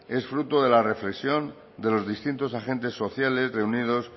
es fruto de la reflexión de los distintos agentes sociales reunidos